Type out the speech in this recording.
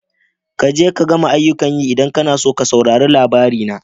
Kaje ka gama aiyukan yi ka idan kana so ka saurari labari na.